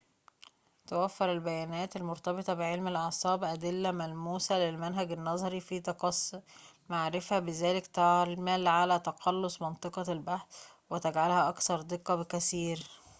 توفّر البيانات المرتبطة بعلم الأعصاب أدلّة ملموسة للمنهج النظري في تقصّي المعرفة بذلك تعمل على تقلُّص منطقة البحث وتجعلها أكثر دقّة بكثير